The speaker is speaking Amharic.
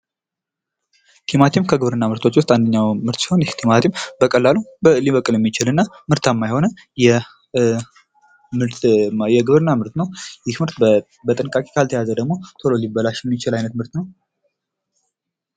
ቲማቲም ከግብርና ምርቶች ውስጥ አንድኛው ምርት ሲሆን ቲማቲም በቀላሉ ሊበቅል የሚችልና ምርታማ የሆነ የግብርና ምርት ነው። ይህ ምርት በጥንቃቄ ካልተያዘ ደግሞ ቶሎ ሊበላሽ የሚችል አይነት ምርት ነው።